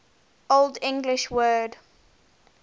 old english word